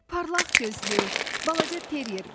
Parlaq gözlü, balaca terier.